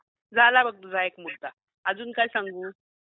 झाला बघ तुझा १ मुददा, अजुन काय सांगू ?